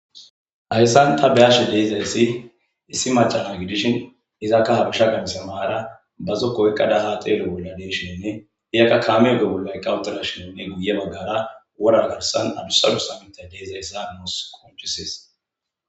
hayssan ta beyashe deezayssi issi macama gidishin izakka habisha ganisa maara bazo koykkada haa teele bolla deeshinne iyakka kaamege bollaiqawutela shinonne guye baggara wora garsan adusadu sammita deezayssa noos qonchisees